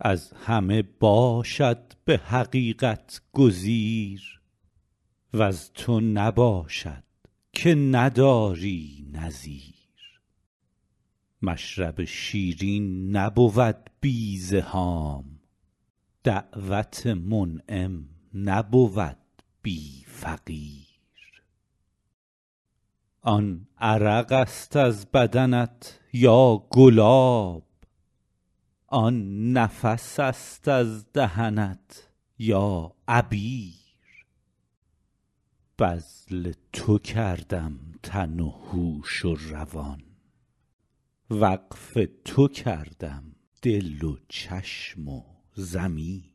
از همه باشد به حقیقت گزیر وز تو نباشد که نداری نظیر مشرب شیرین نبود بی زحام دعوت منعم نبود بی فقیر آن عرق است از بدنت یا گلاب آن نفس است از دهنت یا عبیر بذل تو کردم تن و هوش و روان وقف تو کردم دل و چشم و ضمیر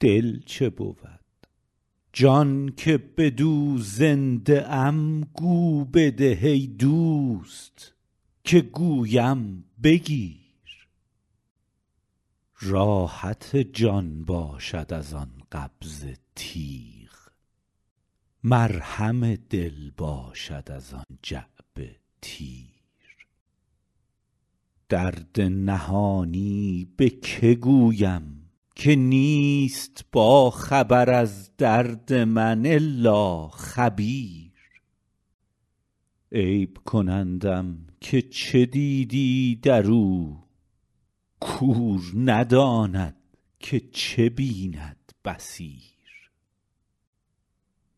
دل چه بود جان که بدو زنده ام گو بده ای دوست که گویم بگیر راحت جان باشد از آن قبضه تیغ مرهم دل باشد از آن جعبه تیر درد نهانی به که گویم که نیست باخبر از درد من الا خبیر عیب کنندم که چه دیدی در او کور نداند که چه بیند بصیر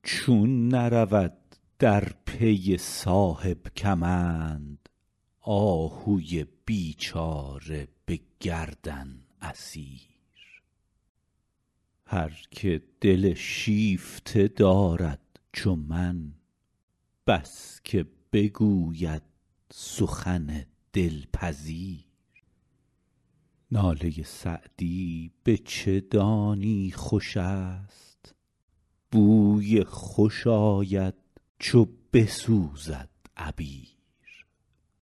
چون نرود در پی صاحب کمند آهوی بیچاره به گردن اسیر هر که دل شیفته دارد چو من بس که بگوید سخن دلپذیر ناله سعدی به چه دانی خوش است بوی خوش آید چو بسوزد عبیر